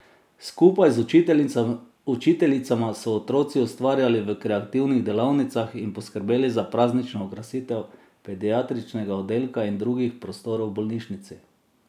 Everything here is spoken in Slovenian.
Skupaj z učiteljicama so otroci ustvarjali v kreativnih delavnicah in poskrbeli za praznično okrasitev pediatričnega oddelka in drugih prostorov v bolnišnici.